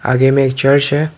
आगे में एक चर्च है।